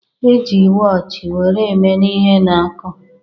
E ji wọochi were enene ihe na-akụ